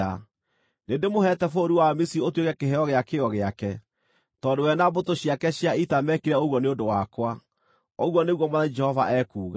Nĩndĩmũheete bũrũri wa Misiri ũtuĩke kĩheo gĩa kĩyo gĩake, tondũ we na mbũtũ ciake cia ita meekire ũguo nĩ ũndũ wakwa, ũguo nĩguo Mwathani Jehova ekuuga.